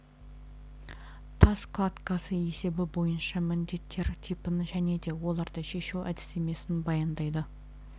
тас кладкасы есебі бойынша міндеттер типін және де оларды шешу әдістемесін баяндайды